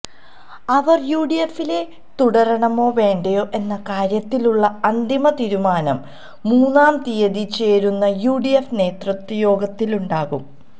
അവര് യുഡിഎഫില് തുടരണമോ വേണ്ടയോ എന്ന കാര്യത്തിലുള്ള അന്തിമ തീരുമാനം മൂന്നാം തീയ്യതി ചേരുന്ന യുഡിഎഫ് നേതൃയോഗത്തിലുണ്ടാകും